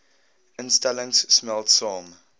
instellings smelt saam